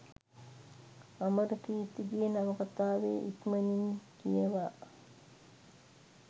අමරකීර්තිගේ නවකතාව ඉක්මනින් කියවා